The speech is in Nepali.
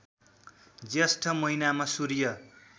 ज्येष्ठ महिनामा सूर्य